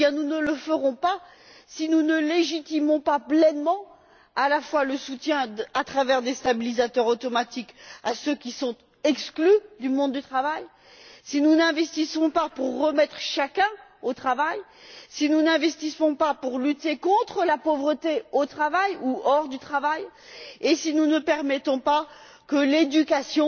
Nous n'y parviendrons pas si nous ne légitimons pas pleinement le soutien à travers des stabilisateurs automatiques à ceux qui sont exclus du monde du travail, si nous n'investissons pas pour remettre chacun au travail, si nous n'investissons pas pour lutter contre la pauvreté au travail ou en dehors du travail et si nous ne permettons pas que l'éducation